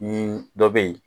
Nin dɔ bɛ yen